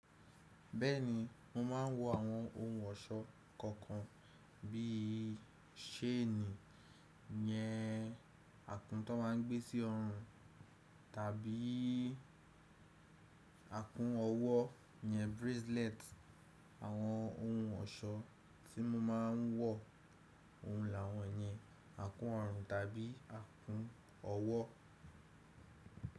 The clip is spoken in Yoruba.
Bẹ́ẹ̀ni, mo máa ń wọ àwọn ohun ọ̀ṣọ́ kọ̀ọ̀kan bíi ṣéènì yẹn, akún tó máa ń gbé sí ọrùn tàbí akún ọwọ́ yẹn bracelet. Àwọn ohun ọ̀ṣọ́ tí mo máa ń wọ̀, ohun làwọn yẹn, akún ọrùn tàbí akún ọwọ́.